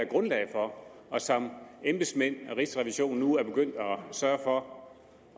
grundlag for og som embedsmændene og rigsrevisionen nu er begyndt at sørge for